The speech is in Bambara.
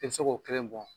I bɛ se k'o kelen bɔ